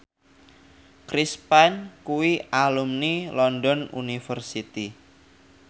Chris Pane kuwi alumni London University